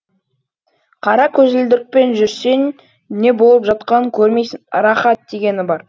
қара көзілдірікпен жүрсең не болып жатқанын көрмейсің рақат дегені бар